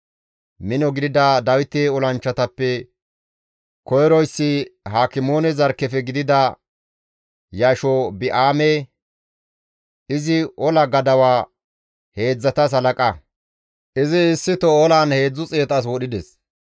Mino gidida Dawite olanchchatappe koyroyssi Hakimoone zarkkefe gidida Yashobi7aame; izi ola gadawa heedzdzatas halaqa; izi issito olan 300 as wodhides.